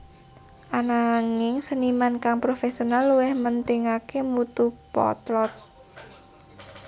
Ananging seniman kang profesional luwih mentingaké mutu potlot